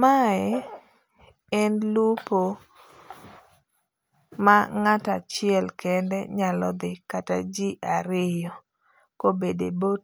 Mae en lupo ma ng'ato achiel kende nyalo dhi kata ji ariyo ka obedo e boat.